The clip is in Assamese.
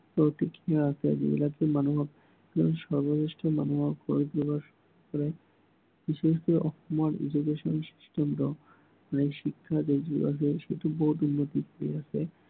প্ৰতিক্ৰিয়া আছে। যিবিলাকে মানুহক বিশেষকৈ মানুহক অসমৰ education system টো নতুন শিক্ষা নীতি বহুত উন্নত কৰি আছে।